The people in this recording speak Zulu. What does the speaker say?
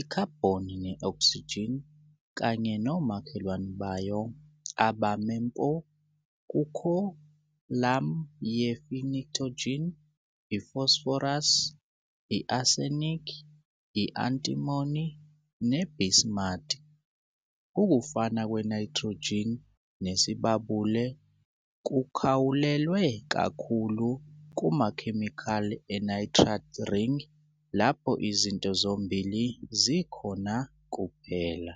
i-carbon ne-oxygen kanye nomakhelwane bayo abame mpo kukholamu ye-pnictogen, i-phosphorus, i-arsenic, i-antimony ne-bismuth. Ukufana kwe-nitrogen nesibabule kukhawulelwe kakhulu kumakhemikhali e-nitride ring lapho izinto zombili zikhona kuphela.